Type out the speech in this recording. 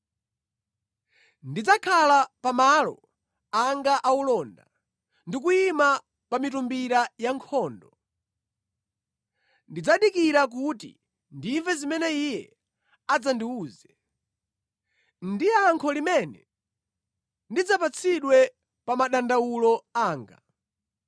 Ndidzakhala pa malo anga aulonda, ndi kuyima pa mitumbira ya nkhondo; ndidzadikira kuti ndimve zimene Iye adzandiwuze, ndi yankho limene ndidzapatsidwe pa madandawulo anga.